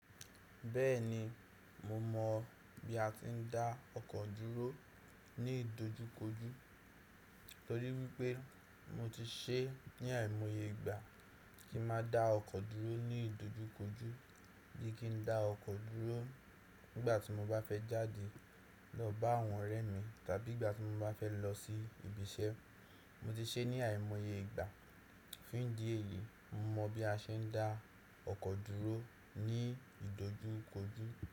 Bẹ́ẹ̀ni, mo mọ bí a ti ń dá ọkọ̀ dúró ní ìdojúkojú, torí wípé mo ti ṣee ní àìmọye ìgbà kí n máa dá ọkọ̀ dúró ní ìdojúkojú, bí kí n dá ọkọ̀ dúró nígbà tí mo bá fẹ́ jáde lọ bá àwọn ọ̀rẹ́ mi tàbí ìgbà tí mo bá fẹ́ lọ sí ibiṣẹ́. Mo ti ṣee ní àìmọye ìgbà. Fún ìdí èyí, mo mọ bí a ṣe ń dá ọkọ̀ dúró ní ìdojúkojú.